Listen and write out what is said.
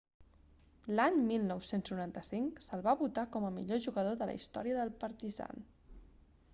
l'any 1995 se'l va votar com a millor jugador de la història del partizan